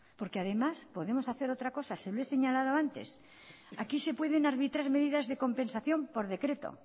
porque además podemos hacer otra cosa se lo he señalado antes aquí se pueden arbitrar medidas de compensación por decreto